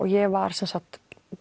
ég var